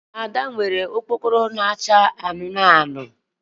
Ada nwere okpokoro na-acha anụnụ anụnụ